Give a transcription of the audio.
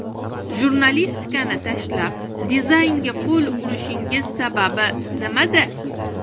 Jurnalistikani tashlab, dizaynga qo‘l urishingiz sababi nimada?